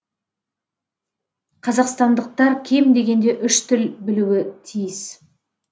қазақстандықтар кем дегенде үш тіл білуі тиіс